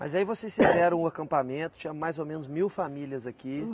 Mas aí vocês fizeram um acampamento, tinha mais ou menos mil famílias aqui.